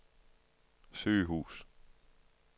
sygehus